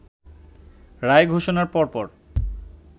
রায় ঘোষণার পরপর